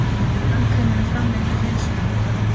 Tannkrem eru framleidd til hreinsunar á tönnum.